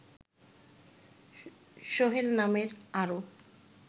সোহেল নামের আরো